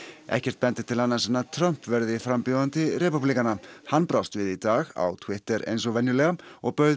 ekkert bendir til annars en að Trump verði frambjóðandi repúblikana hann brást við í dag á Twitter eins og venjulega og bauð